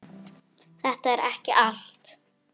Virðing fyrir öðrum.